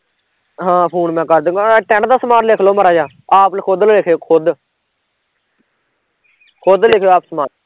ਹਾਂ ਫੂਨ ਮੈਂ ਕਰਦੂਗਾ ਆਹ tent ਦਾ ਸਮਾਨ ਲਿਖਲੋ ਮਾੜਾ ਜਿਹਾ, ਆਪ ਖੁਦ ਲਿਖਿਓ ਖੁਦ ਖੁਦ ਲਿਖਿਓ ਆਪ ਸਮਾਨ